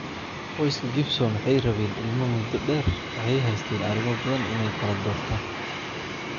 Qoyska Gibson waxay rabeen ilmo muddo dheer, waxay haysteen arimoo badan inaay kaladortan.